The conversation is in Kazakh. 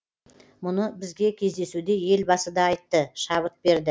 мұны бізге кездесуде елбасы да айтты шабыт берді